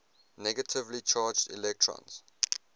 negatively charged electrons